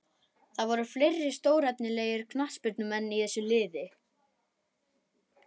Það voru fleiri stórefnilegir knattspyrnumenn í þessu liði.